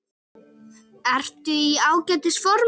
Ertu í ágætis formi?